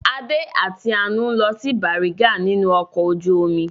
Adé àti Àánú ń lọ sí Bàrígà nínú ọkọ̀ ojú-omi.